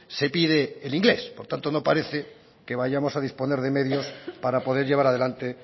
se pide el inglés por tanto no parece que vayamos a disponer de medios para poder llevar adelante